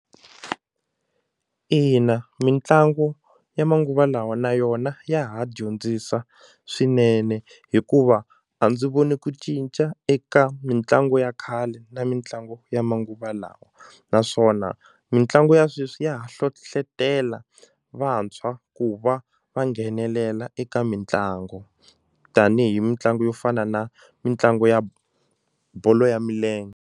Ina, mitlangu ya manguva lawa na yona ya ha dyondzisa swinene hikuva a ndzi voni ku cinca eka mitlangu ya khale na mitlangu ya manguva lawa naswona mitlangu ya sweswi ya ha hlohletela vantshwa ku va va nghenelela eka mitlangu tanihi mitlangu yo fana na mitlangu ya bolo ya milenge.